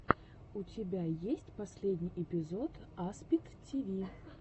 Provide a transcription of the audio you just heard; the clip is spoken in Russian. у тебя есть последний эпизод аспид тиви